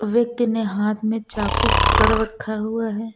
व्यक्ति ने हाथ में चाकू पकड़ रखा हुआ है।